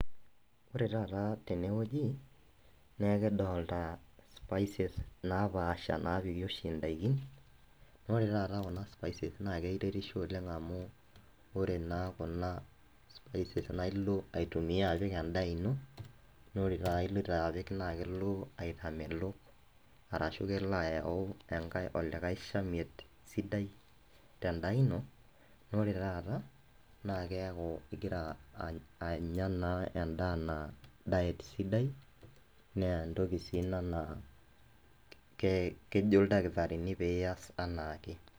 Ore taata tenewueji neekidolta spices napaasha napiiki oshi entaiki, ore taata kuna spice naa keretisho oleng' amu ore naa kuna spice naa ilo aitumiya apik endaa ino, naa ore taata ipikita naa kelo iatamelok arashu kelo ayau olikae shaimie sidai tendaa ino, ore taata naa keeku igira anya naa endaa naa aisidai naa ninye entoki sii ina naakejo oldalkitari pee iyas enaa anaake.